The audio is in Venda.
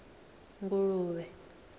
nguluvhe